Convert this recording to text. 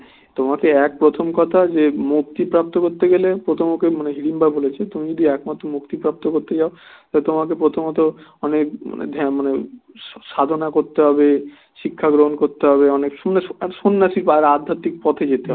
আর তোমাকে প্রথমত অনেক ধ্যান মানে সাধনা করতে হবে শিক্ষা গ্রহণ করতে হবে অনেক সন্ন্যাসী বা আধ্যাত্মিক পথে যেতে হবে